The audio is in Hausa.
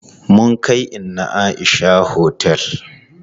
Mun kai inna Aisha otel.